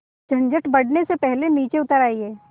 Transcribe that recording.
झंझट बढ़ने से पहले नीचे उतर आइए